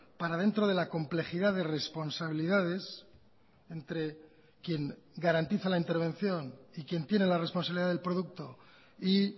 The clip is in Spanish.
para dentro de la complejidad de responsabilidades entre quien garantiza la intervención y quien tiene la responsabilidad del producto y